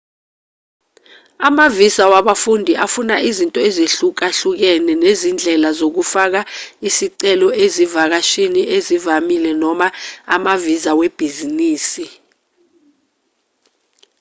amavisa wabafundi afuna izinto ezihlukahlukene nezindlela zokufaka isicelo ezivakashini ezivamile noma amavisa webhizinisi